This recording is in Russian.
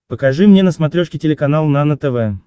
покажи мне на смотрешке телеканал нано тв